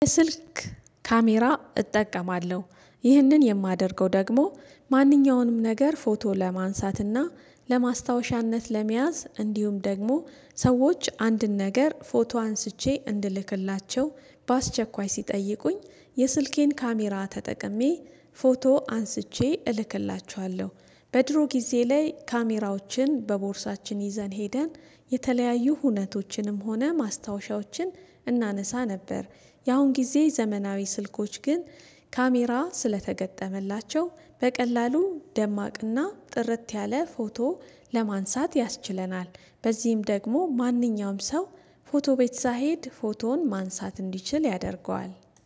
የስልክ ካሜራ እጠቀማለሁ። ይህንን የማደርገው ደግሞ ማንኛውንም ነገር ፎቶ ለማንሳትና ለማስታወሻነት ለመያዝ እንዲሁም ደግሞ ሰዎች አንድን ነገር ፎቶ አንስቼ እንልክላቸው በአስቸኳይ ሲጠይቁኝ የስልኬን ካሜራ ተጠቅሜ ፎቶ አንስቼ እልክላችኋለሁ በድሮ ጊዜ ላይ ካሜራዎችን በቦርሳችን ይዘን ሄደን የተለያዩ ሁነቶችንም ሆነ ማስታወሻዎችን እናነሳ ነበር። ያሁን ጊዜ ዘመናዊ ስልኮች ግን ካሜራ ስለተገጠመላቸው በቀላሉ ደማቅና ጥርት ያለ ፎቶ ለማንሳት ያስችለናል። በዚህም ደግሞ ማንኛውም ሰው ፎቶ ቤት ሳይሄድ ፎቶውን ማንሳት እንዲችል ያደርገዋል።